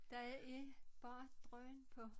Der er er bare drøn på